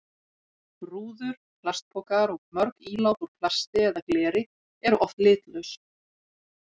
Rúður, plastpokar og mörg ílát úr plasti eða gleri eru oft litlaus.